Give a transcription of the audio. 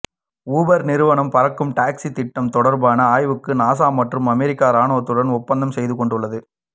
Uber நிறுவனம் பறக்கும் taxi திட்டம் தொடர்பான ஆய்வுக்கு நாசா மற்றும் அமெரிக்க ராணுவத்துடன் ஒப்பந்தம் செய்துகொண்டுள்ளது